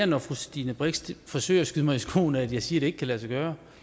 når fru stine brix forsøger at skyde mig i skoene at jeg siger det ikke kan lade sig gøre